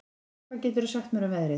Finna, hvað geturðu sagt mér um veðrið?